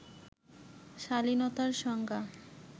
শালীনতার সংজ্ঞা